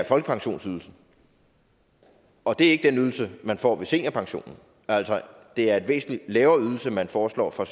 folkepensionsydelsen og at det ikke er den ydelse man får med seniorpensionen altså det er en væsentlig lavere ydelse man foreslår fra